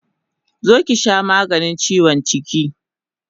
Zo ki sha maganin chiwon jiki!